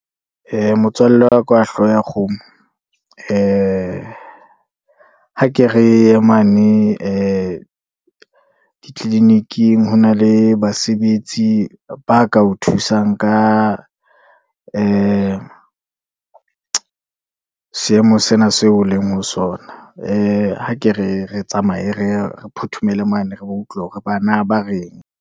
Motswalle wa ka wa hlooho ya kgomo, ee ha ke re ye mane ditlilining, ho na le basebetsi ba ka thusang ka ee seemo sena seo o leng ho sona. Ee, ha ke re tsamaye reye re phothomele mane, re ba utlwa hore bana ba reng.